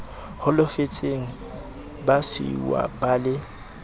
holofetseng ba siuwa ba le